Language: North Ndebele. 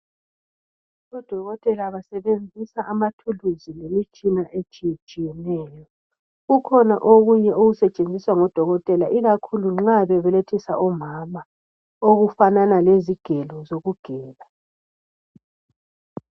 Odokotela basebenzisa amathuluzi lemitshina etshiyatshiyeneyo kukhona okunye okusetshenziswa ngodokotela ikakhulu nxa bebelethisa omama okufanana lezigelo zokugela.